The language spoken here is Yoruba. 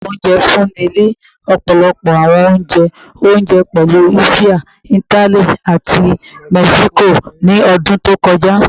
Apakan ounje funni ni ọpọlọpọ awọn ounjẹ ounjẹ, pẹlu Asia, Itali, ati Mexico ni ọdun to kọja